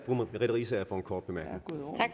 ved ikke og agurkerne